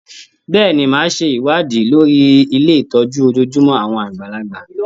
Bẹ́ẹ̀ni, máa ṣe ìwádìí lórí ilé ìtọ́jú ojojúmọ́ àwọn àgbàlagbà.